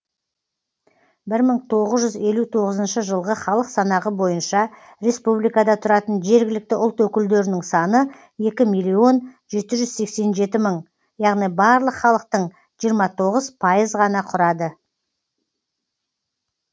бір мың тоғыз жүз елу тоғызыншы жылғы халық санағы бойынша республикада тұратын жергілікті ұлт өкілдерінің саны екі миллион жеті жүз сексен жеті мың яғни барлық халықтың жиырма тоғыз пайыз ғана құрады